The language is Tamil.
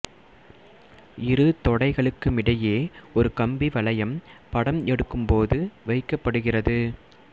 இரு தொடைகளுக்குமிடையே ஒரு கம்பி வளையம் படம் எடுக்கும் போது வைக்கப்படுகிறது